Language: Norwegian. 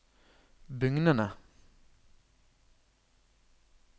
bugnende